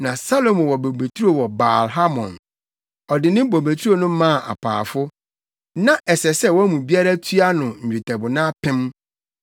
Na Salomo wɔ bobeturo wɔ Baal-Hamon; ɔde ne bobeturo no maa apaafo. Na ɛsɛ sɛ wɔn mu biara tua no nnwetɛbona apem.